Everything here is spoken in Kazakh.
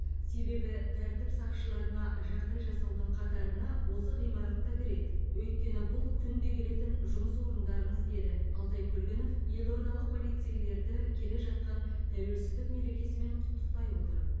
себебі тәртіп сақшыларына жағдай жасаудың қатарына осы ғимаратта кіреді өйткені бұл күнде келетін жұмыс орындарыңыз деді алтай көлгінов елордалық полицейлерді келе жатқан тәуелсіздік мерекесімен құттықтай отырып